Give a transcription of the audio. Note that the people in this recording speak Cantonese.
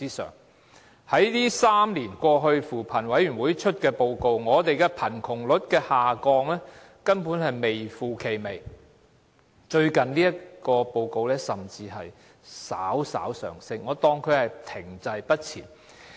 在3年過去，根據扶貧委員會發表的報告，我們貧窮率的下降根本是微乎其微，最近報告顯示甚至稍為上升，我當作是停滯不前。